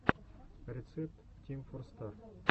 рецепт тим фор стар